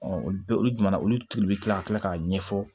olu bɛɛ olu jumɛn na olu tulu bɛ kila ka tila k'a ɲɛfɔ